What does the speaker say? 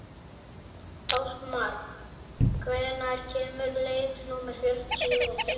Ástmar, hvenær kemur leið númer fjörutíu og þrjú?